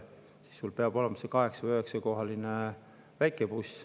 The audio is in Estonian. Seega peab neil olema 8–9-kohaline väikebuss.